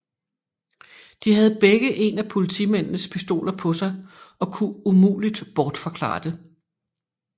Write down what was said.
De havde begge en af politimændenes pistoler på sig og kunne umuligt bortforklare det